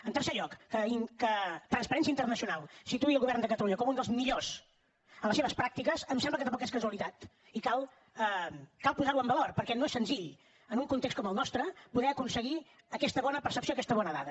en tercer lloc que transparència internacional situï el govern de catalunya com un dels millors en les seves pràctiques em sembla que tampoc és casualitat i cal posar ho en valor perquè no és senzill en un context com el nostre poder aconseguir aquesta bona percepció aquesta bona dada